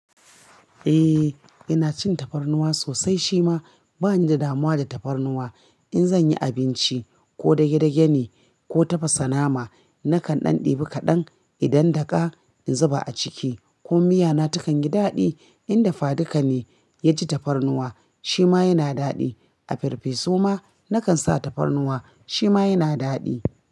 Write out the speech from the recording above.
Eh ina cin tafarnuwa sosai shima bani da damuwa da tafarnuwa. In zan yi abinci ko dage dage ne ko tafasa nama nakan ɗan ɗibi kaɗan idan daƙa in zuba a ciki kuma miya na ta kan yi daɗi. In dafa duka ne ya ji tafarnuwa shi ma yana daɗi. A ferfesu ma na kan sa tafarnuwa shi ma yana daɗi.